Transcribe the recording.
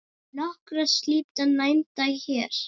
Nokkrar slíkar nefndar hér